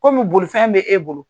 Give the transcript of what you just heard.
Kɔmi bolifɛn bɛ e bolo.